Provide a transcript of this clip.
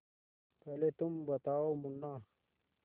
पहले तुम बताओ मुन्ना